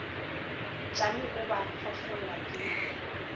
tšame o ba fahlolla ke